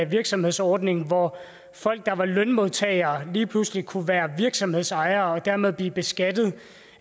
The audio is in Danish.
virksomhedsordningen hvor folk der var lønmodtagere lige pludselig kunne være virksomhedsejere og dermed blive beskattet